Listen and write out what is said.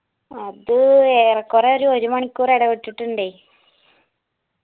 അത് ഏറെ കൊറേ ഒരു ഒരുമണിക്കൂർ എടവിട്ടിട്ടുണ്ടേയ്